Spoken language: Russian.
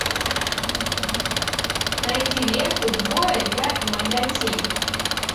найди ленту двое я и моя тень